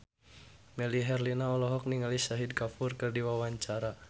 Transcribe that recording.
Melly Herlina olohok ningali Shahid Kapoor keur diwawancara